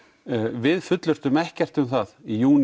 við fullyrtum ekkert um það í júní